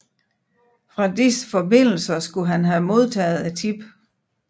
Fra disse forbindelser skulle han have modtaget tippet